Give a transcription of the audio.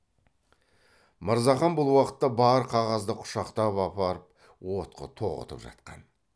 мырзахан бұл уақытта бар қағазды құшақтап апарып отқа тоғытып жатқан